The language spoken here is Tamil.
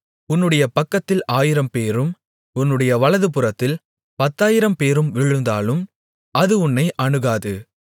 உன்னுடைய பக்கத்தில் ஆயிரம்பேரும் உன்னுடைய வலதுபுறத்தில் பத்தாயிரம்பேரும் விழுந்தாலும் அது உன்னை அணுகாது